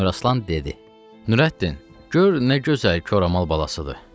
Əmir Aslan dedi: Nurəddin, gör nə gözəl koramal balasıdır.